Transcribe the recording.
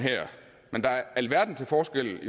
men der er alverden til forskel